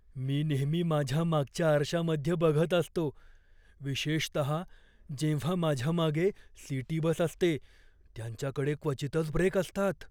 मी नेहमी माझ्या मागच्या आरशामध्ये बघत असतो, विशेषतहा जेव्हा माझ्या मागे सिटी बस असते. त्यांच्याकडे क्वचितच ब्रेक असतात.